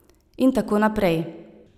In tako naprej.